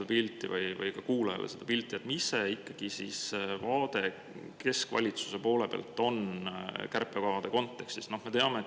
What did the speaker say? Äkki te natuke avate meile või kuulajatele seda pilti, mis ikkagi on see keskvalitsuse vaade kärpekavade kontekstis?